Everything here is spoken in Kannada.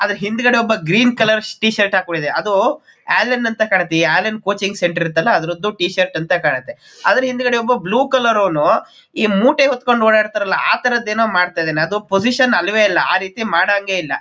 ಅದರ ಹಿಂದುಗಡೆ ಒಬ್ಬ ಗ್ರೀನ್ ಕಲರ್ ಟಿ ಶರ್ಟ್ ಹಾಕ್ಕೊಂಡಿದ್ದಾನೆ ಅದು ಅಲೆನ್ ಅಂತ ಕಾಣುತ್ತೆ ಈ ಅಲೆನ್ ಕೋಚಿಂಗ್ ಸೆಂಟರ್ ಇರುತ್ತಲ್ಲ ಅದರದ್ದು ಟಿ ಶರ್ಟ್ ಅಂತ ಕಾಣುತ್ತೆ ಅದರ ಹಿಂದೆ ಒಬ್ಬ ಬ್ಲೂ ಕಲರ್ ನವನು ಈ ಮೂಟೆ ಹೊತ್ತು ಕೊಂಡು ಓಡಾಡ್ತರಲ್ಲ ಆ ತರದ್ದೇನೋ ಮಾಡ್ತಿದ್ದಾನೆ ಅದು ಪೊಸಿಷನ್ ಅಲ್ವೇ ಅಲ್ಲ ಆ ರೀತಿ ಮಾಡಂಗೆ ಇಲ್ಲ.